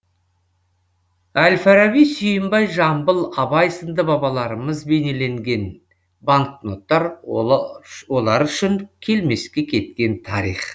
әл фараби сүйінбай жамбыл абай сынды бабаларымыз бейнеленген банкноттар олар үшін келмеске кеткен тарих